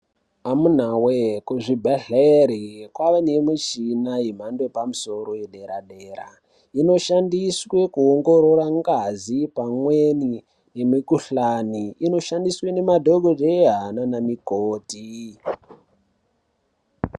Amuna wee kuzvibhedhlera kwaane michina yemhando yepamusoro yepadera dera inoshandiswa kuongorora ngazi pamweni nemikhuhlani inoshandiswa ngemadhokodheya namukoti .